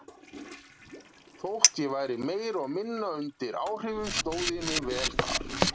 Þótt ég væri meira og minna undir áhrifum stóð ég mig vel þar.